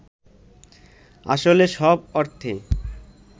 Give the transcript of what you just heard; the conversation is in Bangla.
আসলে সব অর্থে